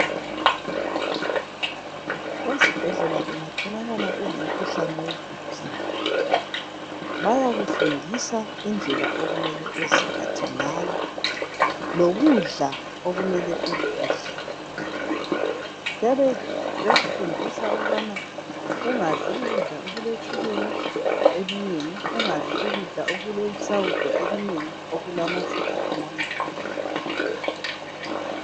Ezibhedlela ungatholakala ulomkhuhlane we BP, bayakufundisa indlela okumele uziphathe ngayo, lokudla okumele ukudle. Bayabe bekufundisa ukubana ungadli ukudla okuletshukela elinengi, ungadli ukudla okulesawudo elinengi, okulamafutha amanengi